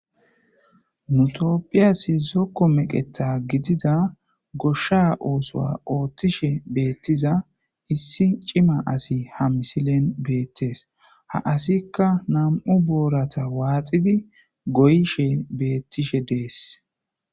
mutopphiyasi zokko meqeta gidida goshsha oosoa ooththishe beettiza issi cima asi ha misilen beettees ha asikka nam7u boorata waaxidi goyshe bettishe dees